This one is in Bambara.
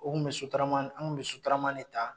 O kun bɛ sotarama anw kun bɛ sotarama de ta